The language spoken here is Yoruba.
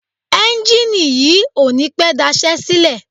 Ẹ́njìnì yìí ò ní pẹ́ daṣẹ́ sílẹ̀.